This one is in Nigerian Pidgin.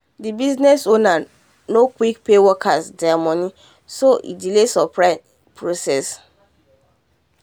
the business ownernor quick pay workers there money so e delay supply process